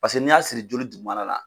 Paseke n'i y'a siri joli dugumana la.